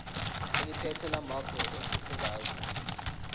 eliphethe lamarcl esifundazwe